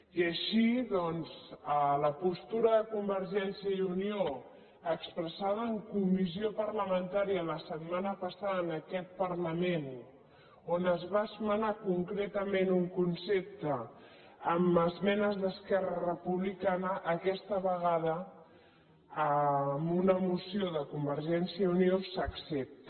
i així doncs a la postura de convergència i unió expressada en co·missió parlamentària la setmana passada en aquest parlament on es va esmenar concretament un concepte amb esmenes d’esquerra republicana aquesta vega·da amb una moció de convergència i unió s’accepta